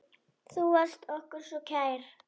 Þú varst okkur svo kær.